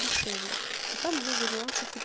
дешевле ну там много нюансов